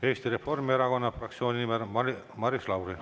Eesti Reformierakonna fraktsiooni nimel Maris Lauri.